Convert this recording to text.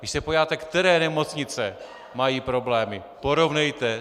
Když se podíváte, které nemocnice mají problémy, porovnejte.